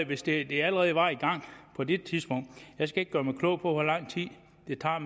hvis det allerede var i gang på det tidspunkt jeg skal ikke gøre mig klog på hvor lang tid det tager